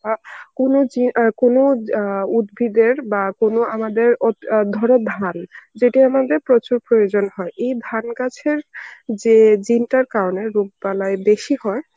আ কোন জি~ অ্যাঁ কোন অ্যাঁ উদ্ভিদের বা কোন আমাদের ওৎ~ ধরো ধান যদি আমাদের প্রচুর প্রয়োজন হয় এই ধান গাছের যে gene টার কারণে রোগ বালাই বেশি হয়